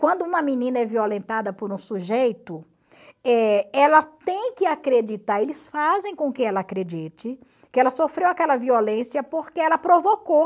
Quando uma menina é violentada por um sujeito, eh ela tem que acreditar, eles fazem com que ela acredite que ela sofreu aquela violência porque ela provocou.